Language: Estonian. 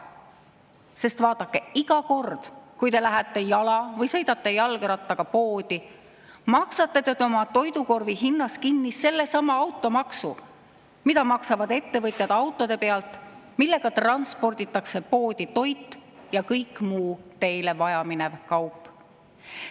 Sest vaadake, iga kord, kui te lähete jala või sõidate jalgrattaga poodi, maksate te oma toidukorvi hinnas kinni sellesama automaksu, mida maksavad ettevõtjad autode pealt, millega transporditakse poodi toit ja kõik muu teile vajaminev kaup.